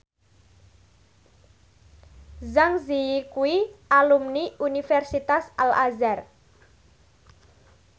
Zang Zi Yi kuwi alumni Universitas Al Azhar